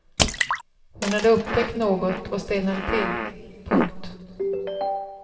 Hon hade upptäckt något och stelnade till. punkt